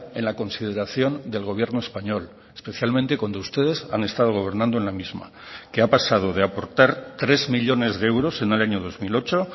en la consideración del gobierno español especialmente cuando ustedes han estado gobernando en la misma que ha pasado de aportar tres millónes de euros en el año dos mil ocho